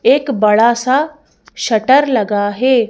एक बड़ा सा शटर लगा है।